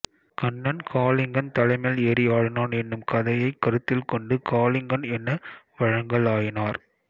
கண்ணன் காளிங்கன் தலைமேல் ஏறி ஆடினான் என்னும் கதையைக் கருத்தில் கொண்டு காளிங்கன் என வழங்கலாயினர்